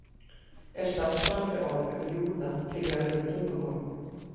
Er samsvarandi orð um júða til í öðrum tungumálum?